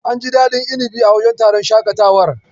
An ji daɗin inibin a wajen taron shakatawar.